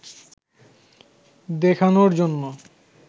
দেখানোর জন্য